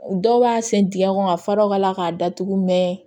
Dɔw b'a sen dingɛ kɔnɔ ka fara o ka la k'a datugu mɛ